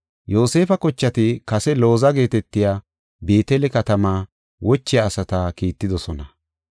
Yoosefa kochati kase Looza geetetiya Beetele katamaa wochiya asata kiittidosona.